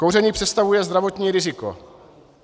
Kouření představuje zdravotní riziko.